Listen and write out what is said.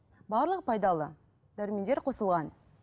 барлығы пайдалы дәрумендер қосылған